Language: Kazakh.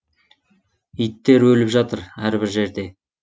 иттер өліп жатыр әрбір жерде